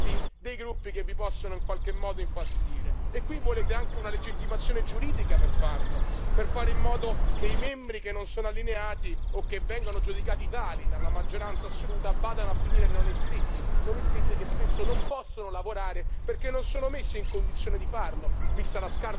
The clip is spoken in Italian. E qui volete anche una legittimazione giuridica per farlo, per fare in modo che i deputati che non sono allineati, o che vengono giudicati tali dalla maggioranza assoluta, vadano a finire nei non iscritti, che spesso non possono lavorare perché non solo messi in condizione di farlo, vista la scarsa allocazione di risorse e di funzionari che vengono loro dati.